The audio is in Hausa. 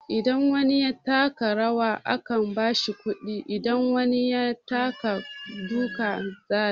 Idan wani ya taka rawa aka bashi kuɗi, in wani ya taka duka zai sha.